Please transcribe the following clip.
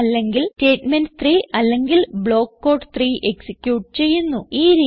true അല്ലെങ്കിൽ statement 3 അല്ലെങ്കിൽ block code 3 execute ചെയ്യുന്നു